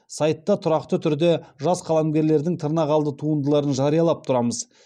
сайтта тұрақты түрде жас қаламгерлердің тырнақалды туындыларын жариялап тұрамыз